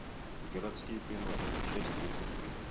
городские приматы часть тридцать три